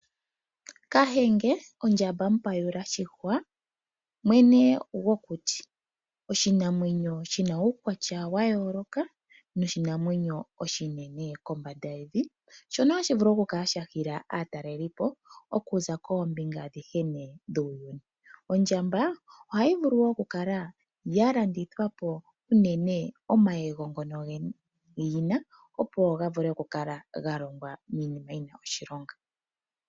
Kahenge Ondjamba mupayula shihwa mwene gwokuti, oshinamwenyo shina uukwatya wa yooloka noshinamwenyo oshinene kombanda yevi. Shono hashi vulu oku kala sha hila aatalelipo okuza koombinga adhihe nee dhuuyuni. Ondjamba ohayi vulu wo oku kala ya landithwapo, unene omayego ngono yina opo ga vule oku kala ga longwa miinima yina oshilonga.